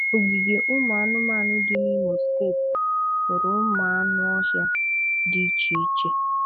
Ọgìgè ụmụ̀ anụ̀manụ dị n’Ìmò Stéeti nwere ụmụ̀ anụ̀ ọhịa dị iche-iche